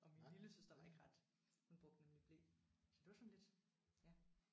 Og min lillesøster var ikke ret hun brugte nemlig ble så det var sådan lidt ja